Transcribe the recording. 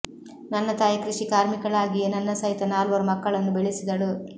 ನನ್ನ ತಾಯಿ ಕೃಷಿ ಕಾರ್ಮಿಕಳಾಗಿಯೇ ನನ್ನ ಸಹಿತ ನಾಲ್ವರು ಮಕ್ಕಳನ್ನು ಬೆಳೆಸಿದಳು